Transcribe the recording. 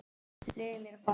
Leyfðu mér að fara.